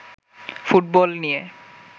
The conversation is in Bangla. ফুটবল নিয়ে